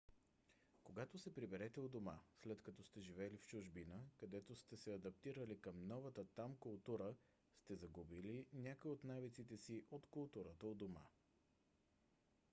когато се прибирате у дома след като сте живели в чужбина където сте се адаптирали към новата там култура сте загубили някои от навиците си от културата у дома